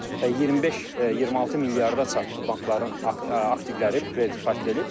Və 25-26 milyarda çatdı bankların aktivləri, kredit portfeli.